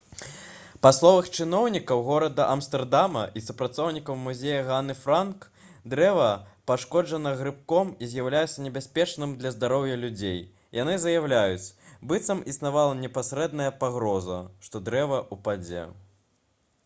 па словах чыноўнікаў горада амстэрдама і супрацоўнікаў музея ганны франк дрэва пашкоджана грыбком і з'яўляецца небяспечным для здароўя людзей яны заяўляюць быццам існавала непасрэдная пагроза што дрэва ўпадзе